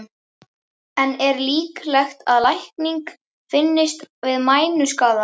En er líklegt að lækning finnist við mænuskaða?